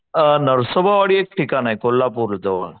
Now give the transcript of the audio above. नरसोबावाडी एक ठिकाणे कोल्हापूर जवळ